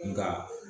Nka